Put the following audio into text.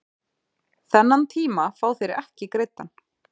Þennan tíma fá þeir ekki greiddan